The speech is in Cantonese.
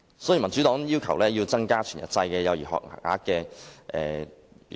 因此，民主黨要求增加全日制幼兒學額。